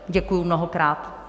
Děkuji mnohokrát.